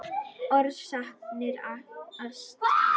Orsakir astma